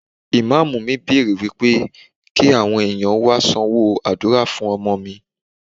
Ìmámúù mi bèrè wípé kí àwọn ẹ̀yàn wá sanwó àdúrà fún ọmọ mi.